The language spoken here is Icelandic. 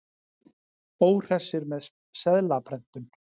Óhressir með seðlaprentun